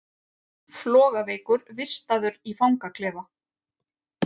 Flogaveikur vistaður í fangaklefa